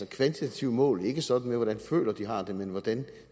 kvantitative mål ikke sådan med hvordan folk føler de har det men hvordan